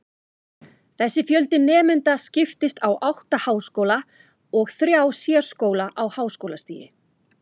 Þessi fjöldi nemenda skiptist á átta háskóla og þrjá sérskóla á háskólastigi.